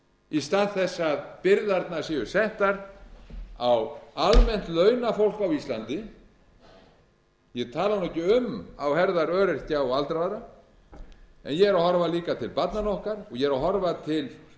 í stað þess að byrðarnar séu settar á almennt launafólk á íslandi ég tala nú ekki um á herðar öryrkja og aldraðra en ég er að horfa líka til barnanna okkar og ég er að horfa til